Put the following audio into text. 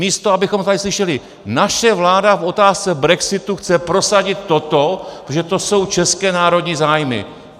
Místo abychom tady slyšeli: naše vláda v otázce brexitu chce prosadit toto, protože to jsou české národní zájmy...